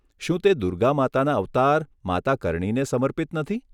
શું તે દુર્ગા માતાના અવતાર માતા કર્ણીને સમર્પિત નથી?